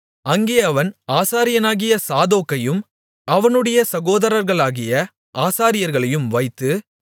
அங்கே அவன் ஆசாரியனாகிய சாதோக்கையும் அவனுடைய சகோதரர்களாகிய ஆசாரியர்களையும் வைத்து